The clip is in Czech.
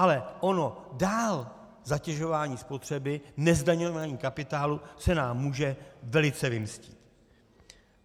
Ale ono dál zatěžování spotřeby, nezdaňování kapitálu se nám může velice vymstít.